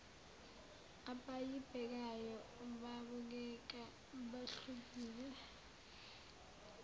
abayibhekayo babukeka behlukile